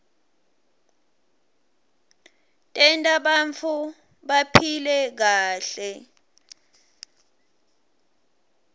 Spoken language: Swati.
tenta bantfu baphile kahle